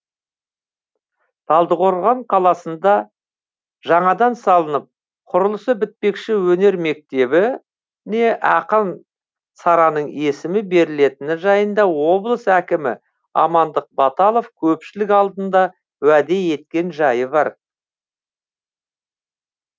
талдықорған қаласында жаңадан салынып құрылысы бітпекші өнер мектебіне ақын сараның есімі берілетіні жайында облыс әкімі амандық баталов көпшілік алдында уәде еткен жайы бар